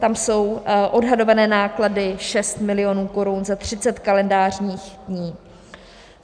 Tam jsou odhadované náklady 6 milionů korun za 30 kalendářních dní.